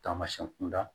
Taamasiyɛn kunda